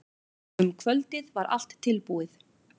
Um kvöldið var allt tilbúið.